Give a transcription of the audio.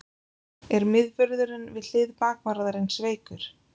Er miðvörðurinn við hlið bakvarðarins veikur?